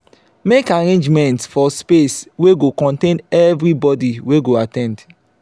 make arrangements for space wey go contain everyboby wey go at ten d